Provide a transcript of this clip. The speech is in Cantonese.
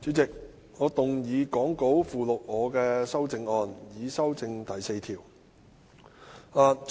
代理主席，我動議講稿附錄我的修正案，以修正第4條。